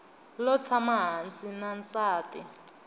lo tshama hansi na nsati